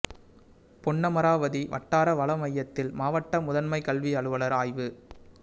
பொன்னமராவதி வட்டார வள மையத்தில் மாவட்ட முதன்மை கல்வி அலுவலா் ஆய்வு